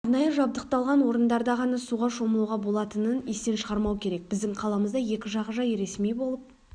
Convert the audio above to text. арнайы жабдықталған орындарда ғана суға шомылуға болатының естен шығармау керек біздің қаламызда екі жағажай ресми болып